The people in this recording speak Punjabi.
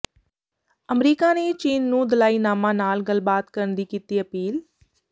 ਅਮਰੀਕਾ ਨੇ ਚੀਨ ਨੂੰ ਦਲਾਈਨਾਮਾ ਨਾਲ ਗੱਲਬਾਤ ਕਰਨ ਦੀ ਕੀਤੀ ਅਪੀਲ